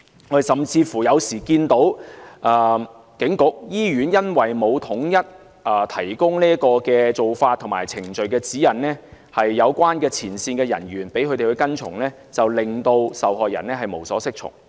我們有時甚至看到，由於警局和醫院沒有統一提供做法和程序指引給有關前線人員跟從，令受害人無所適從。